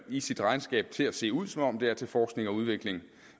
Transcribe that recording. i sit regnskab til at se ud som om de er til forskning og udvikling